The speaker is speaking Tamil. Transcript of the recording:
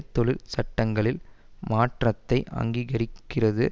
தொழிற் சட்டங்களில் மாற்றத்தை அங்கீகரிக்கிறது